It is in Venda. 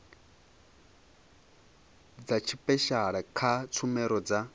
dza tshipeshala kha tshumelo dza